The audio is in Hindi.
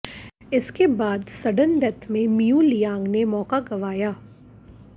इसके बाद सडन डैथ में मियू लियांग ने मौका गंवाया